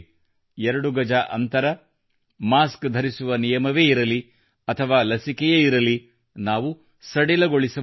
ಎರಡು ಗಜ ಅಂತರ ಮಾಸ್ಕ್ ಧರಿಸುವ ನಿಯಮವೇ ಇರಲಿ ಅಥವಾ ಲಸಿಕೆಯೇ ಆಗಿರಲಿ ನಾವು ಸಡಿಲಗೊಳಿಸಬಾರದು